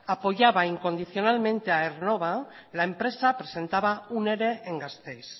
apoyaba incondicionalmente a aernnova la empresa presentaba un ere en gasteiz